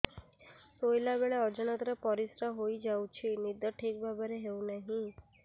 ଶୋଇଲା ବେଳେ ଅଜାଣତରେ ପରିସ୍ରା ହୋଇଯାଉଛି ନିଦ ଠିକ ଭାବରେ ହେଉ ନାହିଁ